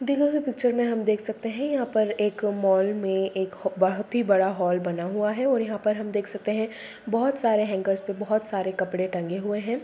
दी गयी हुई पिच्चर में देख सकते हैं यहाँ पर एक मॉल में एक बोहोत ही बड़ा हॉल बना हुआ है और यहाँ पे हम देख सकते हैं बोहोत सारे हैंगर्स पे बोहोत सारे कपड़े टंगे हुए हैं।